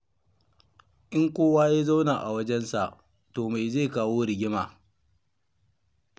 In kowa ya zauna a wajensa, to me zai kawo rigima?